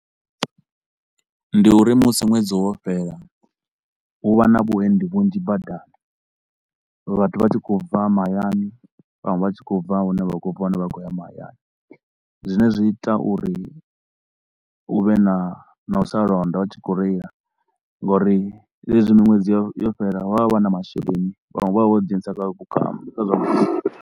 Ndi uri musi ṅwedzi wo fhela hu vha na vhuendi vhunzhi badani, vhathu vha tshi khou bva mahayani vhaṅwe vha tshi khou bva hune vha khou bva hone vha khou ya mahayani. Zwine zwi ita uri hu vhe na na u sa londa vha tshi khou reila ngauri zwezwi miṅwedzi yo yo fhela vha vha vha na masheleni, vhaṅwe vha vha vho ḓi dzhenisa kha vhukambi kha zwa vhuka